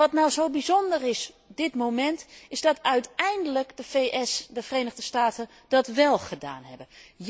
En wat nu zo bijzonder is op dit moment, is dat uiteindelijk de Verenigde Staten dat wél gedaan hebben.